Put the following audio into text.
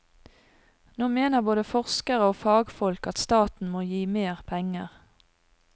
Nå mener både forskere og fagfolk at staten må gi mer penger.